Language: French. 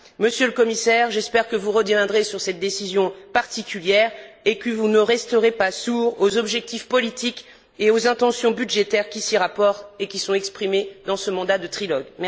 Monsieur le Commissaire, j'espère que vous reviendrez sur cette décision particulière et que vous ne resterez pas sourd aux objectifs politiques et aux intentions budgétaires qui s'y rapportent et qui sont exprimées dans ce mandat de trilogue.